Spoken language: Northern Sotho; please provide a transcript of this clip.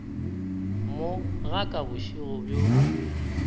mo ga ka bošego bjo